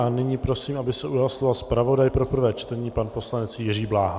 A nyní prosím, aby se ujal slova zpravodaj pro prvé čtení pan poslanec Jiří Bláha.